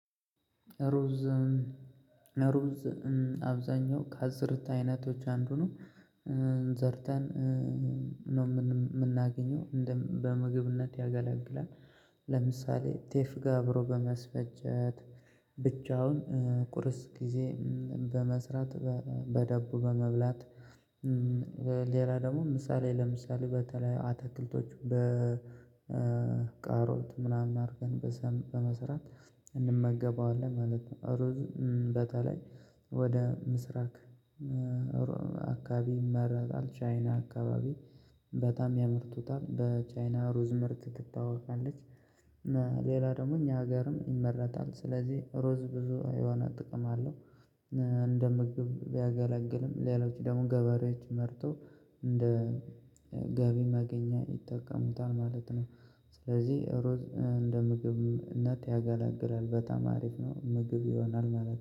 ሩዝ ሩዝ አብዛኛው ከአዝርት አይነቶች አንዱ ነው ዘርተን ነው የምናገኘው በምግብነት ያገለግለን ለምሳሌ ጤፍ ጋር አብሮ በማስፈጨት ብቻውን ቁርስ ጊዜ በመስራት በዳቦ በመብላት ሌላ ደግሞ ምሳሌ ለምሳሌ በተለያዩ አትክልቶች በካሮት ምናምን አድርገን በመስራት እንመገበዋለን ማለት ነው። በተለይ ወደ ምስራቅ አካባቢ ይመረታል ቻይና አካባቢ በጣም ያመርቱታል በቻይና ሩዝ ምርት ትታወቃለች። እና ሌላ ደግሞ እኛ ሀገርም ይመረታል ስለዚህ ሩዝ ብዙ የሆነ ጥቅም አለው። እንደ ምግብ ቢያገለግልም ሌሎች ደግሞ ገበሬዎች መርጦ እንደ ገቢ ማገኛ ይጠቀሙታል ማለት ነው። ስለዚህ እንደ ምግብነት ያገለግላል በጣም አሪፍ ነው ምግብ ይሆናል ማለት ነው